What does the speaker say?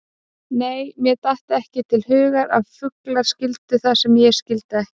Nei, mér datt ekki til hugar að fuglar skildu það sem ég skildi ekki.